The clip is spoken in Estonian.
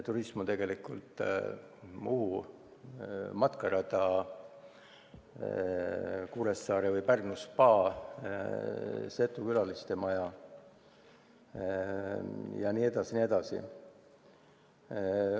Turism on tegelikult Muhu matkarada, Kuressaare või Pärnu spaa, Setu külalistemaja jne.